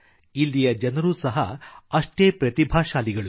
ಇಲ್ಲಿಯ ಜನರೂ ಸಹ ಅಷ್ಟೇ ಪ್ರತಿಭಾಶಾಲಿಗಳು